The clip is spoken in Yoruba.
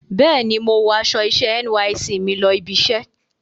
Bẹ́ẹ̀ni, mo wọ aṣọ iṣẹ́ NYSC mi lọ ibiṣẹ́.